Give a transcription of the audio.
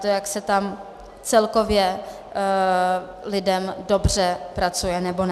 To, jak se tam celkově lidem dobře pracuje nebo ne.